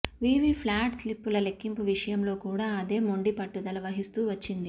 VVPAT స్లిప్పుల లెక్కింపు విషయంలో కూడా అదే మొండి పట్టుదల వహిస్తూ వచ్చింది